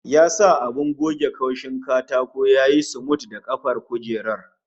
Ya sa abin goge kaushin katako ya yi sumul da kafar kujerar